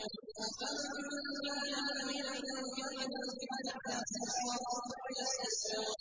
أَفَمَن كَانَ مُؤْمِنًا كَمَن كَانَ فَاسِقًا ۚ لَّا يَسْتَوُونَ